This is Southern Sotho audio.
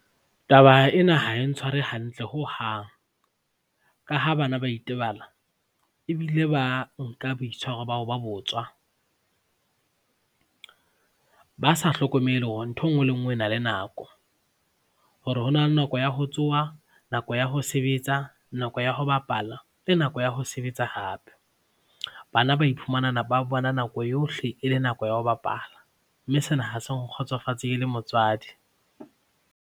Taba ena ha e ntshware hantle hohang ka ha bana ba itebala ebile ba nka boitshwaro ba ho ba botswa ba sa hlokomele hore ntho e nngwe le e nngwe e na le nako, hore ho na le nako ya ho tsoha, nako ya ho sebetsa, nako ya ho bapala le nako ya ho sebetsa hape. Bana ba iphumana ba bona nako yohle e le nako ya ho bapala mme sena ha se nkgotsofatse ke le motswadi.